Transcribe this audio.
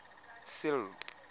sello